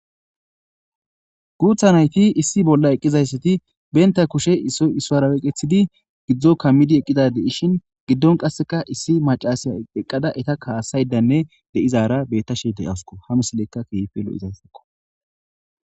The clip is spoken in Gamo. Guutha nayti issi bolla eqqizayssati benta kushe isoisaraweqethidi gidzdzo kammidi eqqida deishin giddon qasseka issi macasiya eqqada eta kaasaydanne deizaara bettashe deyasuko hamisilekka kife lo7izayssakko.